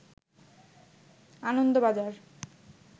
Anandabazar